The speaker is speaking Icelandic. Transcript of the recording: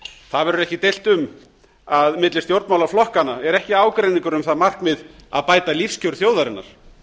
það verður ekki deilt um að milli stjórnmálaflokkanna er ekki ágreiningur um það markmið að bæta lífskjör þjóðarinnar